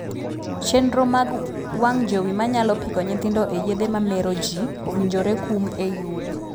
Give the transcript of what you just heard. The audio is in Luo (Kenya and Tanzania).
Chenro mag wang' jowi manyalo piko nyithindo e yedhe ma mero jii owinjore kum ei udi.